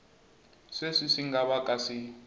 sweswi swi nga vaka swi